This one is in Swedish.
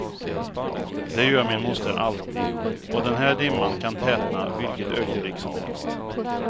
Det gör min moster alltid, och den här dimman kan tätna vilket ögonblick som helst.